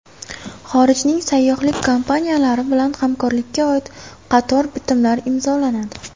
Xorijning sayyohlik kompaniyalari bilan hamkorlikka oid qator bitimlar imzolanadi.